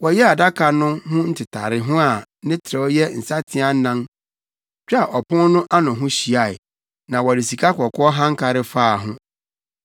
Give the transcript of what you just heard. Wɔyɛɛ adaka no ho ntetareho a ne trɛw yɛ nsateaa anan twaa ɔpon no ano ho hyiae, na wɔde sikakɔkɔɔ hankare faa ho.